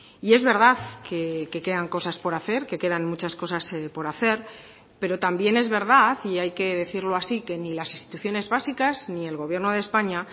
y es verdad que quedan cosas por hacer que quedan muchas cosas por hacer pero también es verdad y hay que decirlo así que ni las instituciones básicas ni el gobierno de españa